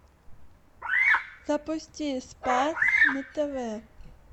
запусти спас на тв